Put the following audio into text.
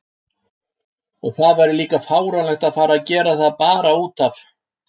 Og það væri líka fáránlegt að fara að gera það bara út af.